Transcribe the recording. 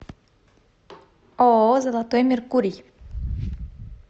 ооо золотой меркурий